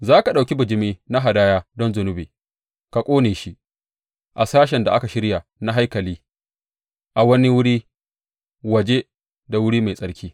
Za ka ɗauki bijimi na hadaya don zunubi ka ƙone shi a sashen da aka shirya na haikalin a wani wuri waje da wuri mai tsarki.